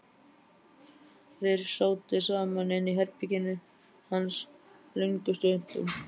Þeir sátu saman inni í herberginu hans löngum stundum.